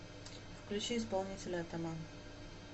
включи исполнителя атаман